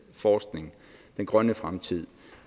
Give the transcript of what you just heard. forskning den grønne fremtid